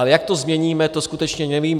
Ale jak to změníme, to skutečně nevím.